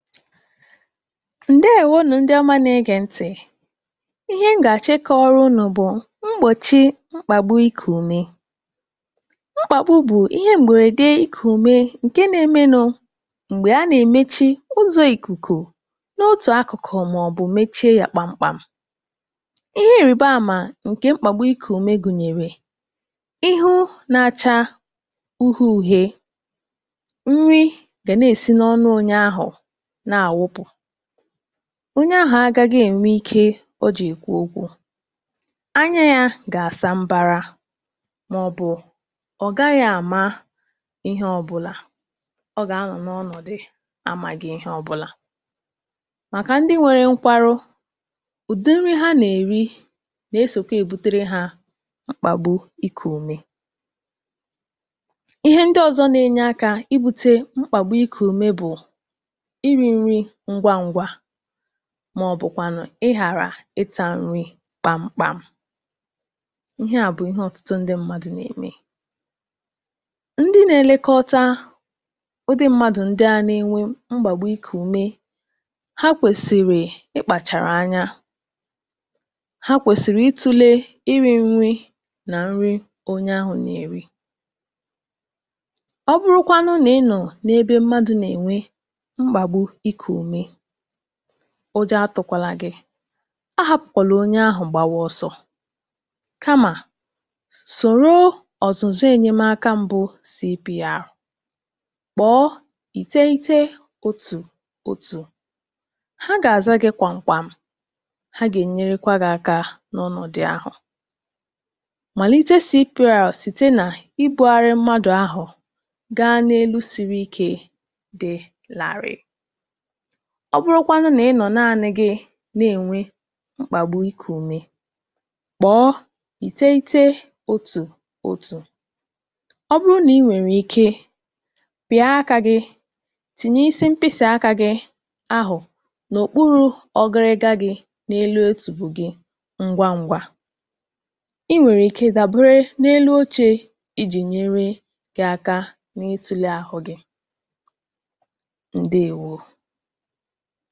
ǹdewonù ndị ọma na ẹgẹ̀ ntị̀ ihe m gà àchọ ịkọ̄wara unù bụ̀ mgbòchi mkpàgbu ikù ume mkpàgbu bụ̀ ihe m̀bẹ̀rẹ̀dẹ ikù ume ǹkẹ na ẹmẹ nụ̄ m̀gbè a nà èmechi uzọ̄ ìkùkù n’otù akụ̀kụ̀ mà ọ̀ bụ̀ mechie yā kpam kpam ihe irìba àmà ǹkè mkpàgbu ikù ùme gùnyèrè ịhụ na acha uhie uhie nrị gà nà èsi n’ọnụ onye ahụ̀ nà àwụpụ̀ onye ahụ̀ agaghị ẹ̀nwẹ ike o jị̀ èkwu okwū anya ya gà àsa mbara mà ọ̀ bụ̀ ọ̀ gaghī àma ihe ọbụlà ọ gà anọ̀ nà ọnọ̀dụ̀ ya àmāghị ihe ọbụlà màkà ndị nwẹrẹ nkwarụ udị nrī ha nà èri nà esòkwe èbutere hā mkpàgbu ikù ume ihe ndị ozọ na ẹnyẹ akā ị bute mkpàgbu ikù ume bụ̀ ịrị̄ nrị ngwa ngwa mà ọ̀ bụ̀ kwànụ̀ ị ghàrà ị tā nrị kpàm kpàm ihe à bụ̀ ihe ọtụtụ ndị̄ mmādu nà ẹ̀mẹ ndị na ẹlẹkọta udị mmadu ndị à nà ẹnwẹ mgbàgbu ikù ume ha kwèsìrì ị kpàchàrà anya ha kwèsìri ị tùlè ịrị̄ nrị nà nrị onye ahụ̄ nà èri ọ bụrụkwanụ nà ị nụ̀ n’ebe mmadū nà ènwe mkpàgbu ikù ùme ujọ atụ̄kwala gị kamà sòro ọ̀zụ̀zụ ẹ̀nyẹmaka mbụ CPR kpọ̀ọ ìteghete otù otù ha gà àza gị̄ kwàm kwàm ha gà ènyerekwā gị̄ aka n’ọnọ̀dị ahụ̀ màlite CPR site nà ịkpụ̄gharị mmadù ahụ̀ gā n’enu siri ike dị̄ làrì ọ bụrụkwanụ nà ị nọ̀ naani gị nà ènwe mkpàgbu ikù ume kpọ̀ọ ìteghete otù otù ọ bụrụ nà ị nwẹ̀rẹ̀ ike pịa akā gī tìnye isi ḿkpisì akā gī ahụ̀ n’òkpurū ọgịrịga gị̄ n’elu otùbe gị ngwa ngwa ị nwèrè ike dàbere n’elu ochē ịjị̀ nyere yā aka n’itūle àhụ gị̄ ǹdèwo